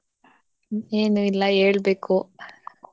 ಏನು ಇಲ್ಲ ಹೇಳ್ಬೇಕು.